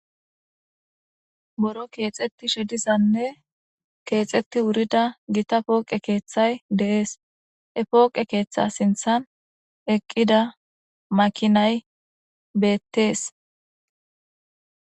boro keexetti shedizanne keexetti wurida gita pooqe keeththay deees e pooqe keeththa sinthan eqqida makinay beettees